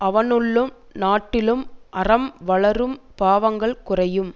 அவனுள்ளும் நாட்டிலும் அறம் வளரும் பாவங்கள் குறையும்